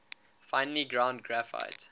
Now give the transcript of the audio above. finely ground graphite